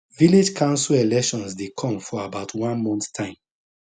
village council elections dey come for about one month time